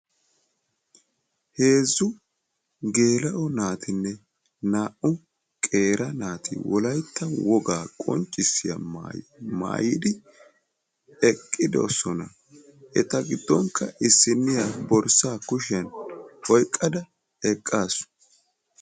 Heezzu geela'o naatine naa'u qeera naati wolaytta wogaa qonccissiya maayuwaa maayidi eqqidosona. Eta giddonka issiniya borssa kushiyan oyqqada eqqasu.